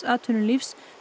atvinnulífs